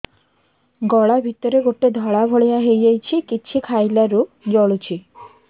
ଗଳା ଭିତରେ ଗୋଟେ ଧଳା ଭଳିଆ ହେଇ ଯାଇଛି କିଛି ଖାଇଲାରୁ ଜଳୁଛି